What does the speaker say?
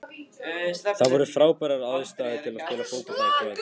Það voru frábærar aðstæður til að spila fótbolta í kvöld.